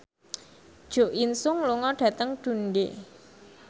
Jo In Sung lunga dhateng Dundee